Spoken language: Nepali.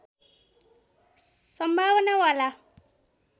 सम्भावना वाला